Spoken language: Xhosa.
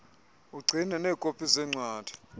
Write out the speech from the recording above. ugcine neekopi zeencwadi